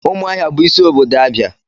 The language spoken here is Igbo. Umuahia bu isi obodo Abia.